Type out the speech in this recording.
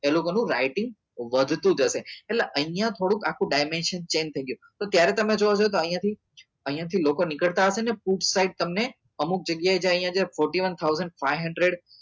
પેલું તેનું writing વધતું જશે એટલે અહિયાં થોડુક આખું change થઇ ગયું તો ત્યારે તમે જોવો છો તો અહિયાં થી અહિયાથી લોકો નીકળતા હશે ને put side તમને અમુક જગ્યા એ તમને fourty one thousand five hundred